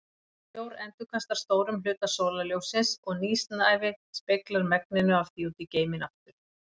Snjór endurkastar stórum hluta sólarljóssins og nýsnævi speglar megninu af því út í geiminn aftur.